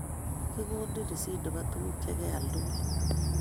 Kigonin risitit nebo tuguk chegeal tugul